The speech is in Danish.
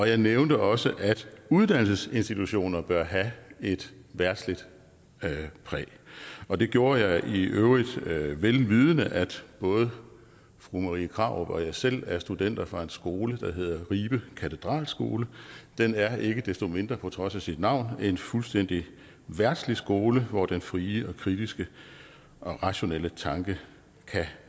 jeg nævnte også at uddannelsesinstitutionerne bør have et verdsligt præg og det gjorde jeg i øvrigt vel vidende at både fru marie krarup og jeg selv er studenter fra en skole der hedder ribe katedralskole den er ikke desto mindre på trods af sit navn en fuldstændig verdslig skole hvor den frie og kritiske og rationelle tanke kan